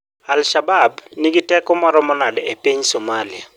Al-Shabab nigi teko maromo nade e piny Somalia?